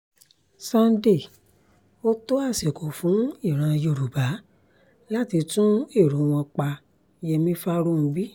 sunday ó tó àsìkò fún ìran yorùbá láti tún èrò wọn pa yẹmi farounbi